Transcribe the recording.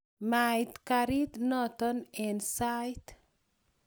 mait karit noto eng sait